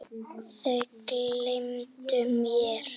Þau gleymdu mér.